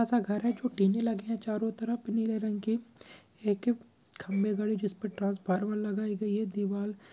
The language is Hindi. छोटा सा घर है जो टीने लगे हैं चारों तरफ नीले रंग के एक खम्बे खड़े है जिस पर ट्रैन्स्फॉर्मर लगाई गई है दीवाल--